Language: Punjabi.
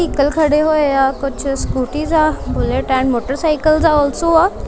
ਵਹੀਕਲਸ ਖੜੇ ਹੋਏ ਆ ਕੁਛ ਸਕੂਟੀਜ ਆ ਬੁਲੇਟ ਐਂਡ ਮੋਟਰਸਾਈਕਲ ਆ ਆਲਸੋ ਆ।